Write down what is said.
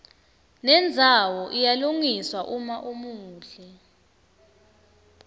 nendzawo iyalungiswa uma umuhle